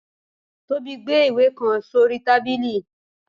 Tobi gbe ìwe kan sorí tábilí.